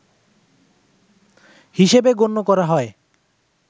হিসেবে গণ্য করা হয়